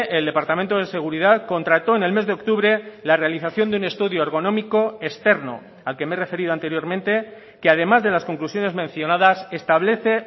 el departamento de seguridad contrató en el mes de octubre la realización de un estudio ergonómico externo al que me he referido anteriormente que además de las conclusiones mencionadas establece